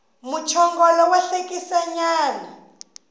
muchongolo wa hlekisa nyana